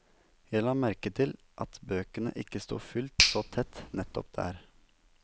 Jeg la merke til at bøkene ikke sto fullt så tett nettopp der.